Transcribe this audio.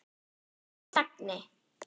Píanó þagni!